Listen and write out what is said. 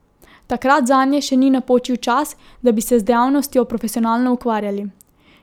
Takrat zanje še ni napočil čas, da bi se z dejavnostjo profesionalno ukvarjali.